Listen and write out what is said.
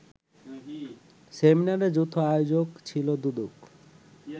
সেমিনারের যৌথ আয়োজক ছিল দুদক